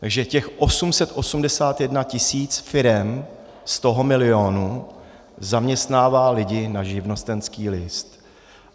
Takže těch 881 tis. firem z toho milionu zaměstnává lidi na živnostenský list.